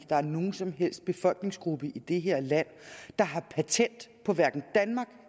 der er nogen som helst befolkningsgruppe i det her land der har patent på danmark